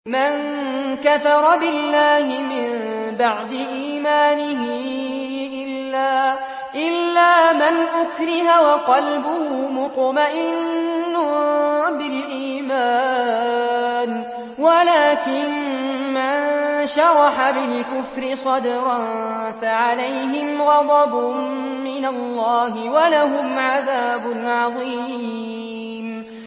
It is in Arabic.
مَن كَفَرَ بِاللَّهِ مِن بَعْدِ إِيمَانِهِ إِلَّا مَنْ أُكْرِهَ وَقَلْبُهُ مُطْمَئِنٌّ بِالْإِيمَانِ وَلَٰكِن مَّن شَرَحَ بِالْكُفْرِ صَدْرًا فَعَلَيْهِمْ غَضَبٌ مِّنَ اللَّهِ وَلَهُمْ عَذَابٌ عَظِيمٌ